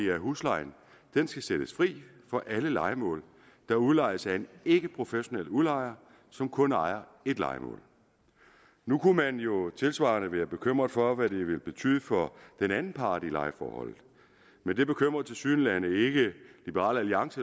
at huslejen skal sættes fri for alle lejemål der udlejes af en ikkeprofessionel udlejer som kun ejer ét lejemål nu kunne man jo tilsvarende være bekymret for hvad det vil betyde for den anden part i lejeforholdet men det bekymrer tilsyneladende ikke liberal alliance